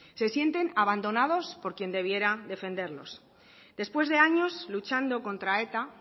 se sienten abandonados por quien debieran defenderlos después de años luchando contra eta